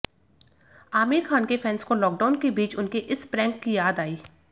आमिर खान के फैंस को लॉकडाउन के बीच उनके इस प्रैंक की याद आई